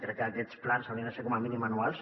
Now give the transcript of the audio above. crec que aquests plans haurien de ser com a mínim anuals